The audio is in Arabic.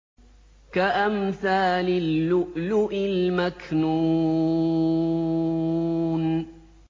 كَأَمْثَالِ اللُّؤْلُؤِ الْمَكْنُونِ